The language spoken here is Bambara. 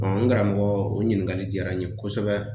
n karamɔgɔ o ɲininkali diyara n ye kosɛbɛ